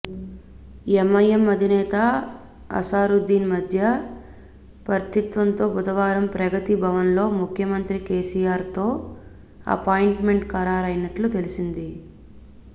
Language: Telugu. ఎంఐఎం అధినేత అసదుద్దీన్ మధ్య వర్తిత్వంతో బుధవారం ప్రగతి భవన్లో ముఖ్యమంత్రి కెసిఆర్తో అపాయింట్మెంట్ ఖరారైనట్లు తెలిసింది